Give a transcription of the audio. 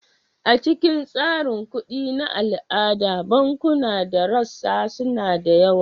A cikin tsarin kuɗi na al'ada, bankunan da rassa suna da yawa.